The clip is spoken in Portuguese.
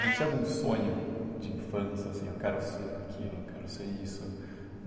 Você tinha algum sonho de infância, assim, eu quero ser aquilo, eu quero ser isso?